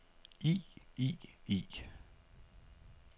i i i